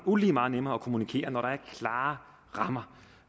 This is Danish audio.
ulige meget nemmere at kommunikere når der er klare rammer